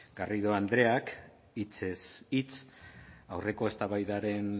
garrido andreak hitzez hitz aurreko eztabaidaren